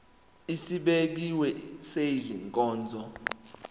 esibekiwe sale nkonzo